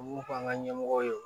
U b'u fɔ an ka ɲɛmɔgɔw ye